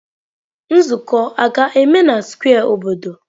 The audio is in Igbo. Nzuko a ga-eme na square obodo?